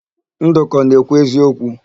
Ndụka ọ na-ekwu eziokwu?